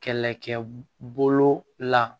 Kɛlɛkɛ bolo la